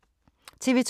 TV 2